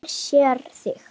Hún sér svart.